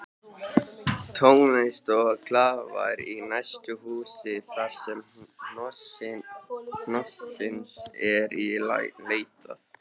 Tónlist og glaðværð í næsta húsi þarsem hnossins er leitað